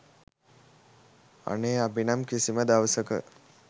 අනේ අපි නම් කිසිම දවසක